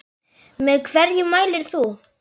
Með hverju mælir þú?